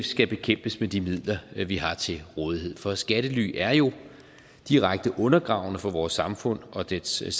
skal bekæmpes med de midler vi har til rådighed for skattely er jo direkte undergravende for vores samfund og dets